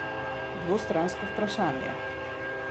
Dvostransko vprašanje?